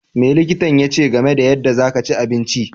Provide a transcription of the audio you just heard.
Me likitan yache game da yanda za ka chi abinci?